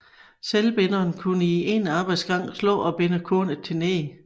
Selvbinderen kunne i en arbejdsgang slå og binde kornet til neg